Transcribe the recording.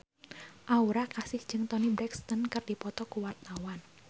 Aura Kasih jeung Toni Brexton keur dipoto ku wartawan